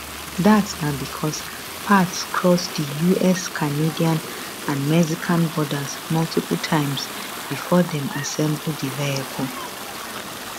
dat na becos parts cross di us canadian and mexican borders multiple times before dem assemble di vehicle